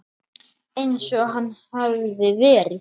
Eins og hann hafði verið.